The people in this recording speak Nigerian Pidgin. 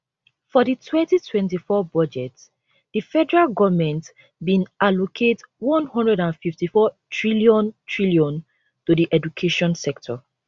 for di 2024 budget di federal goment bin allocate n154 trillion trillion to di education sector